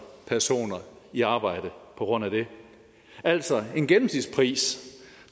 personer i arbejde på grund af det altså en gennemsnitspris